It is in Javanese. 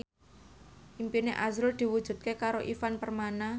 impine azrul diwujudke karo Ivan Permana